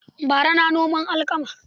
Bara na noman alkama.